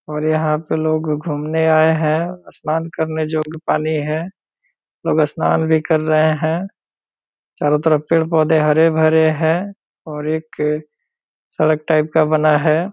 और यहाँ पे लोग घूमने आये हैं | स्नान करने जगह पानी है | सब स्नान भी कर रहे हैं | चारो तरफ पेड़ पौधे हरे भरे हैं और एक सड़क टाइप का बना है |